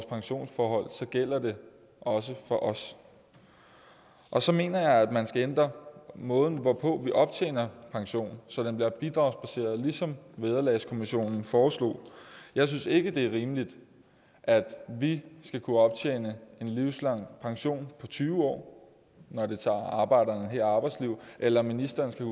pensionsforhold så gælder det også for os og så mener jeg at man skal ændre måden hvorpå vi optjener pension så den bliver bidragsbaseret ligesom vederlagskommissionen foreslog jeg synes ikke det er rimeligt at vi skal kunne optjene livslang pension på tyve år når det tager arbejdere et helt arbejdsliv eller at ministre skal